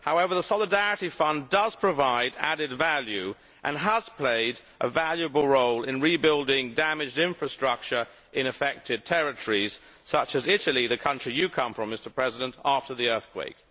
However, the Solidarity Fund does provide added value and has played a valuable role in rebuilding damaged infrastructure in affected territories such as Italy the country you come from Mr President after the earthquake.